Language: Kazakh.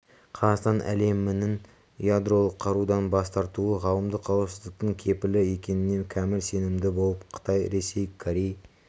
қазақстан әлемнің ядролық қарудан бас тартуы ғаламдық қауіпсіздіктің кепілі екеніне кәміл сенімді болып қытай ресей корей